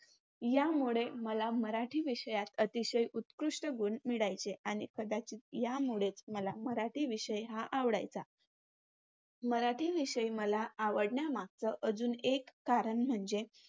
यामुळे मला मराठी विषयात अतिशय उत्कृष्ट गुण मिळायचे. आणि यामुळेच मला मराठी विषय हा आवडायचा. मराठी विषय मला आवडण्यामागचं अजून एक कारण म्हणजे